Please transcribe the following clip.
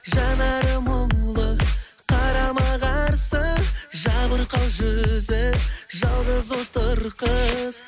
жанары мұңлы қарама қарсы жабырқау жүзі жалғыз отыр қыз